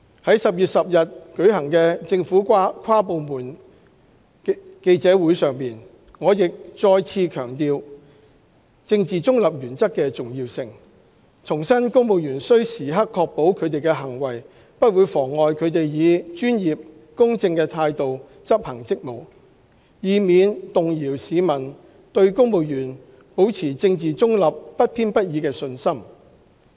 在10月10日舉行的政府跨部門記者會上，我亦再次強調政治中立原則的重要性，重申公務員須時刻確保他們的行為不會妨礙他們以專業、公正的態度執行職務，以免動搖市民對公務員保持政治中立、不偏不倚的信心。